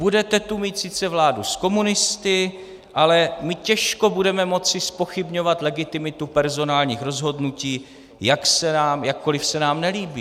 Budete tu mít sice vládu s komunisty, ale my těžko budeme moci zpochybňovat legitimitu personálních rozhodnutí, jakkoliv se nám nelíbí.